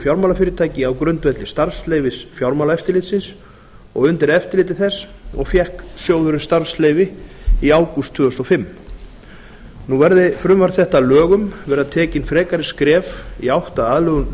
fjármálafyrirtæki á grundvelli starfsleyfis fjármálaeftirlitsins og undir eftirliti þess fékk hann starfsleyfi í ágúst tvö þúsund og fimm verði frumvarp þetta að lögum verða tekin frekari skref í átt að aðlögun